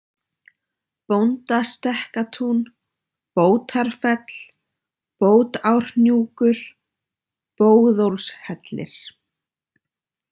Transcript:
Bóndastekkatún, Bótarfell, Bótárhnjúkur, Bóðólfshellir